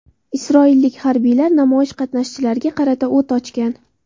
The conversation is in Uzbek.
Isroillik harbiylar namoyish qatnashchilariga qarata o‘t ochgan.